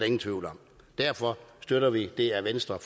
ingen tvivl om derfor støtter vi det af venstre